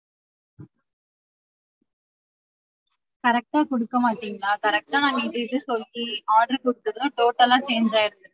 Correct ஆ குடுக்க மாட்டிங்களா? correct ஆ நாங்க இது இது சொல்லி order குடுத்துடுறோம் total ஆ change ஆயிருக்கு.